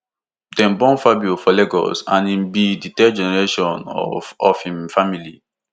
dem born fabio for lagos and im be di third generation of of im family